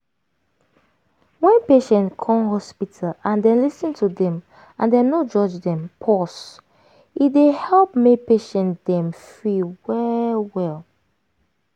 wen patient come hospital and dem lis ten to dem and dem no judge dem pause e dey help make patient dem free well well.